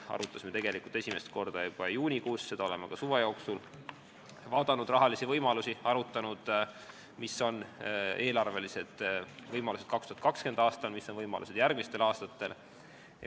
Arutasime esimest korda seda juba juunis, ka suve jooksul vaatasime rahalisi võimalusi, arutasime, mis on eelarvelised võimalused 2020. aastal ja mis on võimalused järgmistel aastatel.